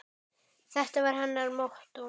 Þetta var hennar mottó.